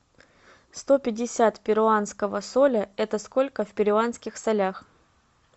сто пятьдесят перуанского соля это сколько в перуанских солях